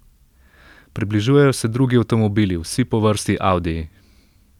Približujejo se drugi avtomobili, vsi po vrsti audiji.